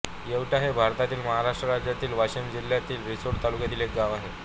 येवटा हे भारतातील महाराष्ट्र राज्यातील वाशिम जिल्ह्यातील रिसोड तालुक्यातील एक गाव आहे